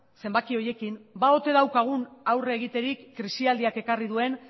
zenbaki horiekin ba ote daukagun aurre egiterik krisialdiak ekarri duen